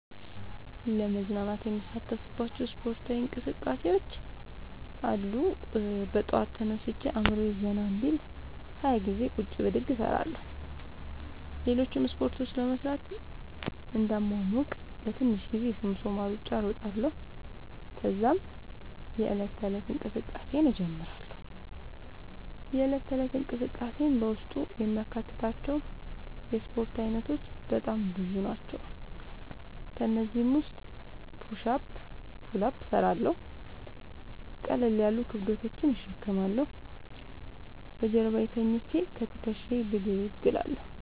ለመዝናናት የምሣተፍባቸዉ እስፖርታዊ እንቅስቃሤዎች አሉ። በጠዋት ተነስቼ አእምሮየ ዘና እንዲል 20ገዜ ቁጭ ብድግ እሰራለሁ። ሌሎችን እስፖርቶች ለመሥራት እንድሟሟቅ ለትንሽ ጊዜ የሶምሶማ እሩጫ እሮጣለሁ። ተዛም የዕለት ተለት እንቅስቃሴየን እጀምራለሁ። የእለት ተለት እንቅስቃሴየም በውስጡ የሚያካትታቸዉ የእስፖርት አይነቶች በጣም ብዙ ናቸዉ። ከእነዚህም ዉስጥ ፑሽ አፕ ፑል አፕ እሠራለሁ። ቀለል ያሉ ክብደቶችን እሸከማለሁ። በጀርባየ ተኝቸ ከትክሻየ ብድግ እላለሁ።